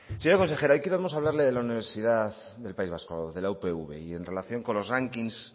señora consejera hoy queremos hablarle de la universidad del país vasco de la upv y en relación con los ranking